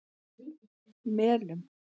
Melum